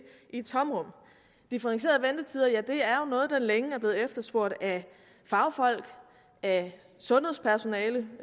i et tomrum differentierede ventetider er noget der længe har været efterspurgt af fagfolk af sundhedspersonale